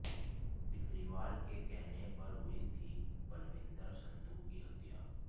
बिकरीवाल के कहने पर हुई थी बलविंदर संधु की हत्या